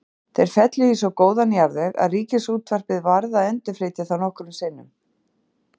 Þeir féllu í svo góðan jarðveg að Ríkisútvarpið varð að endurflytja þá nokkrum sinnum.